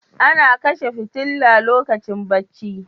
Ana kashe fitila lokacin bacci.